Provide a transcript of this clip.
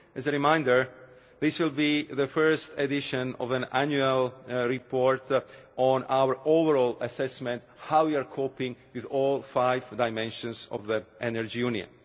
As a reminder, this will be the first edition of an annual report on our overall assessment of how we are coping with all five dimensions of the Energy